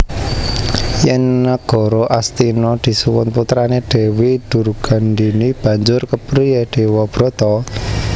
Yen Nagara Astina disuwun putrane Dewi Durgandhini banjur kepriye Dewabrata